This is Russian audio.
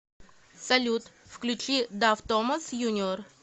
салют включи дав томас юниор